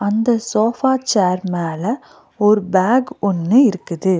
இந்த sofa chair மேல ஓர் பேக் ஒன்னு இருக்குது.